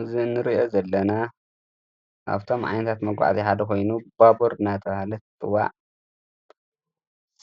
እዝ እንርእአ ዘለና ኣብቶም ዓይንታት መጕዕት ሓደ ኾይኑ ባቦር ናተውሃለት ትዋዕ